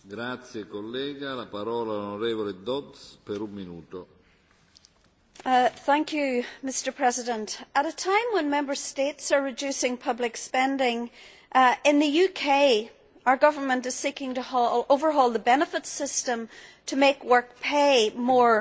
Mr President, at a time when Member States are reducing public spending, in the UK our government is seeking to overhaul the benefits system to make work pay more.